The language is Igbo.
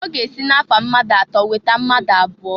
Ọ ga-esi na-afa mmadụ atọ weta mmadụ abụọ.